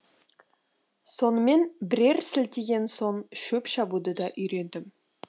сонымен бірер сілтеген соң шөп шабуды да үйрендім